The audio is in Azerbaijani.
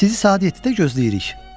Sizi saat 7-də gözləyirik.